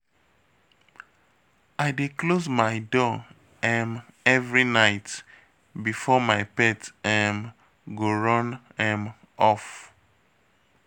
I dey close my door um every night before my pet um go run um off